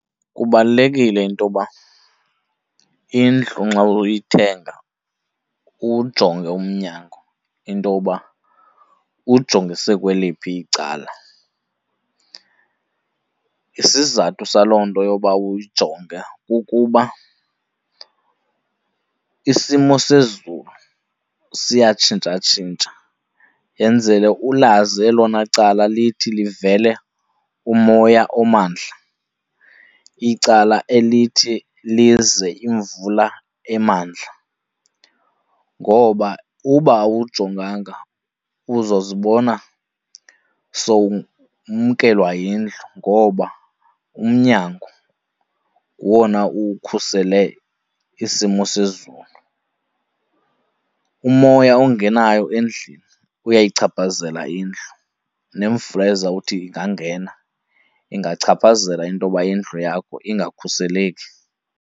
Kubalulekile intoba indlu nxa uyithenga uwujonge umnyango intoba ujongise kweliphi icala. Isizathu saloo nto yoba uyijonge kukuba isimo sezulu siyatshintshatshintsha. Yenzele ulazi elona cala lithi livele umoya omandla, icala elithi lize imvula emandla. Ngoba uba awujonganga uzozibona sowumkelwa yindlu ngoba umnyango ngowona ukhusele isimo sezulu. Umoya ongenayo endlini kuyayichaphazela indlu, nemvula ezawuthi ingangena ingachaphazela intoba indlu yakho ingakhuseleki.